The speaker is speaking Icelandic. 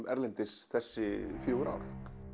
erlendis þessi fjögur ár